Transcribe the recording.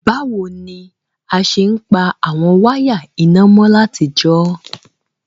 Bàwoni a se n pa àwon wire iná mo látijọ́?